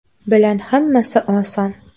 bilan hammasi oson!.